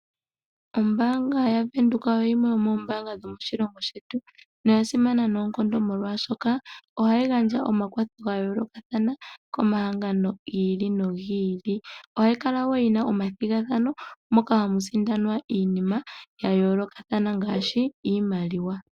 Ombaanga yaVenduka oyo yimwe yomombaanga dhomoshilongo shetu noyasimana noonkondo molwaashoka ohayi gandja omakwatho goshimaliwa komahangano gi ili nogili. Ohayi kala wo yina omathigathano moka hamu sindanwa iinima ya yoolokothana ngaashi iimaliwa.